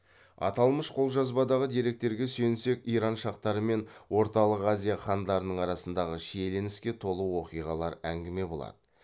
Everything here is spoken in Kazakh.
аталмыш қолжазбадағы деректерге сүйенсек иран шахтары мен орталық азия хандарының арасындағы шиеленіске толы оқиғалар әңгіме болады